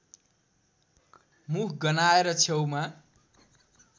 मुख गन्हाएर छेउमा